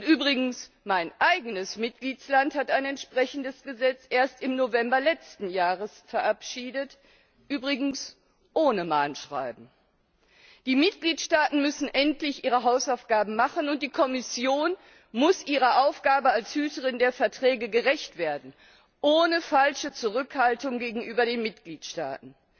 Übrigens Mein eigenes Mitgliedsland hat ein entsprechendes Gesetz erst im November letzten Jahres verabschiedet, übrigens ohne Mahnschreiben. Die Mitgliedstaaten müssen endlich ihre Hausaufgaben machen, und die Kommission muss ihrer Aufgabe als Hüterin der Verträge gerecht werden, ohne falsche Zurückhaltung gegenüber den Mitgliedstaaten.